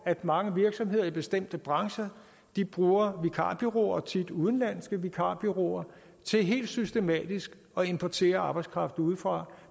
at mange virksomheder i bestemte brancher bruger vikarbureauer tit udenlandske vikarbureauer til helt systematisk at importere arbejdskraft udefra